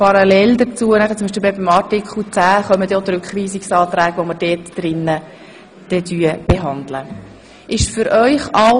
Parallel dazu werden wir an der entsprechenden Stelle die Rückweisungsanträge behandeln.